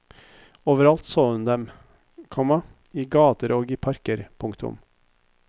Overalt så hun dem, komma i gater og i parker. punktum